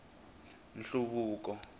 nhluvuko